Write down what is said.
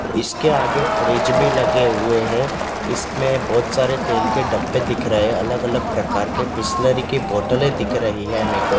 और इसके आगे फ्रिज भी लगे हुए हैं इसमें बहोत सारे तेल के डब्बे दिख रहे हैं अलग-अलग प्रकार के बिसलेरी के बोटले दिख रही है मेको।